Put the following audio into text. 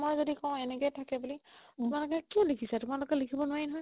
মই যদি মও এনেকে থাকে বুলি তোমালোকে কিয় লিখিছা তোমালোকে লিখিব নোৱাৰি নহয়